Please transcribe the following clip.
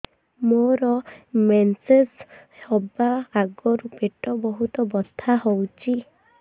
ମୋର ମେନ୍ସେସ ହବା ଆଗରୁ ପେଟ ବହୁତ ବଥା ହଉଚି